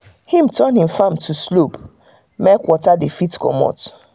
him turn him farm to um slope make water dey fit comot.